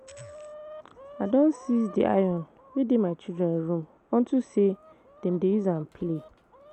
I don seize the iron wey dey my children room unto say dem dey use am play